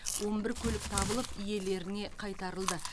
он бір көлік табылып иелеріне қайтарылды